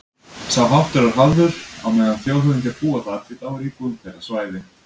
Sá háttur er hafður á meðan þjóðhöfðingjar búa þar, því þá er íbúðin þeirra svæði